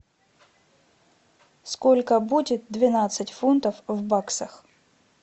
сколько будет двенадцать фунтов в баксах